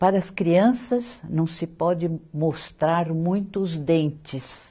Para as crianças, não se pode mostrar muito os dentes.